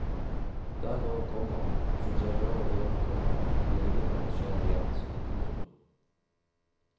Der går, komma som seg hør og bør, komma legeme og sjel i ett. punktum